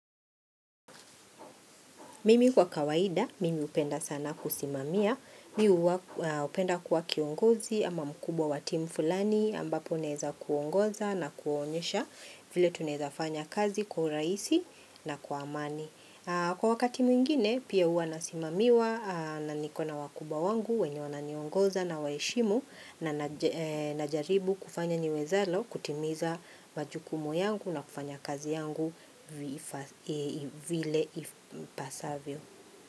Mimi kwa kawaida, mimi upenda sana kusimamia, miu upenda kwa kiongozi ama mkubwa watimu fulani ambapo naeza kuongoza na kuonyesha vile tuneza fanya kazi kwa uraisi na kwa amani. Kwa wakati mwingine pia uwa nasimamiwa na nikona wakubwa wangu, wenye wananiongoza na waishimu na najaribu kufanya niwezalo kutimiza majukumu yangu na kufanya kazi yangu vile ipasavyo.